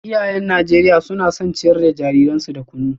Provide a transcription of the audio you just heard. Iyayen Najeriya suna son ciyar da jariransu da kunu